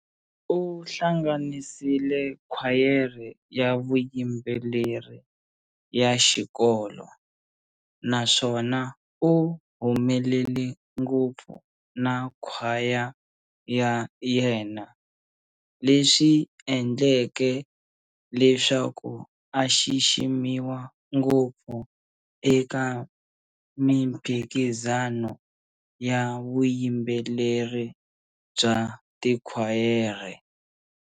U hlanganisile khwayere ya vuyimbeleri ya xikolo, naswona u humelele ngopfu na khwaya ya yena leswi endleke leswaku a xiximiwa ngopfu eka miphikizano ya vuyimbeleri bya tikhwayere.